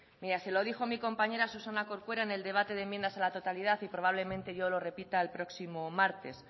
se lo dijo mi compañera susana corcuera en el debate de enmiendas a la totalidad y probablemente yo lo repita el próximo martes